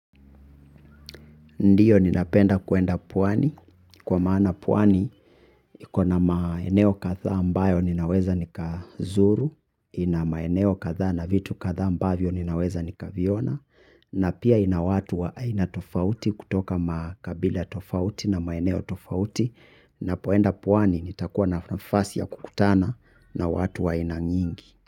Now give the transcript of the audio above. Ndio ninapenda kuenda pwani. Kwa maana pwani, iko na maeneo kadhaa ambayo ninaweza nikazuru, ina maeneo kadhaa na vitu kadhaa ambavyo ninaweza nikaviona, na pia ina watu wa aina tofauti kutoka makabila tofauti na maeneo tofauti, napoenda pwani nitakuwa na nafasi ya kukutana na watu wa aina nyingi.